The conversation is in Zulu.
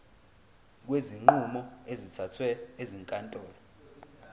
kwezinqumo ezithathwe ezinkantolo